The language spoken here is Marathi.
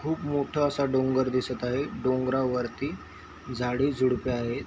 खूप मोठा असं डोंगर दिसत आहे डोंगरवर्ति झाडी झडपी आहेत.